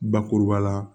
Bakuruba la